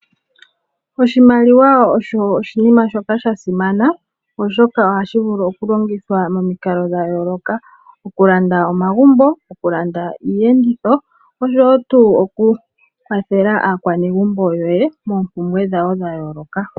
Oshimaliwa osho oshinima shoka sha simana, oshoka ohashi vulu oku longithwa momikalo dha yooloka, oku landa omagumbo, oku landa iiyenditho oshowo tuu oku kwathela aakwanegumbo yoye moompumbwe dhawo dha yooloka.